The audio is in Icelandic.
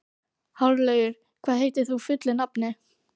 Hárlaugur, hvað heitir þú fullu nafni?